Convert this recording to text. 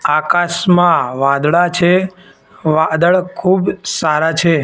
આકાશમાં વાદળા છે વાદળ ખૂબ સારા છે.